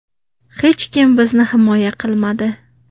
Hech kim bizni himoya qilmadi.